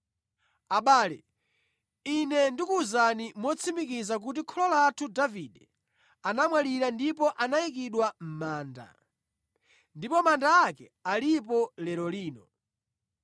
“Abale, ine ndikuwuzani motsimikiza kuti kholo lathu Davide anamwalira ndipo anayikidwa mʼmanda, ndipo manda ake alipo lero lino.